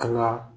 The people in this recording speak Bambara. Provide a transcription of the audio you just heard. An ka